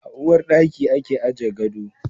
A uwar daki ake aje gado.